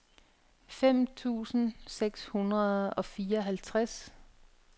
fem tusind seks hundrede og fireoghalvtreds